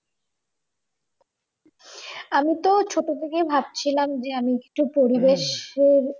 আমিতো ছোট থেকে ভাবছিলাম যে আমি একটু পরিবেশ এর